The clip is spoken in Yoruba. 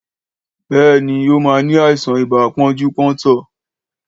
Béèni, ó ní àìsàn ibà pọ́njú-pọ́ntọ̀